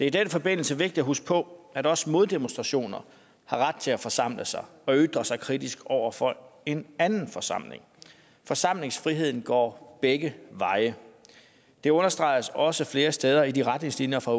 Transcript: i den forbindelse vigtigt at huske på at også moddemonstrationer har ret til at forsamle sig og ytre sig kritisk over for en anden forsamling forsamlingsfriheden går begge veje det understreges også flere steder i de retningslinjer fra